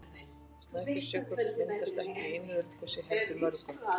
Snæfellsjökull myndaðist ekki í einu eldgosi heldur mörgum.